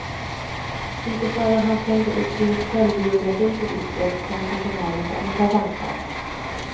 Inte förrän han slängde upp sin självbiografi på disken kom personalen på andra tankar.